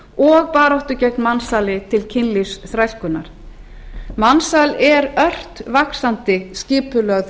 og baráttu gegn mansali til kynlífsþrælkunar mansal er ört vaxandi skipulögð